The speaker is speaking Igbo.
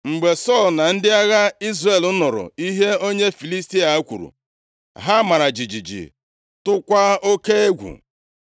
Mgbe Sọl na ndị agha Izrel nụrụ ihe onye Filistia a kwuru, ha mara jijiji tụọkwa oke egwu.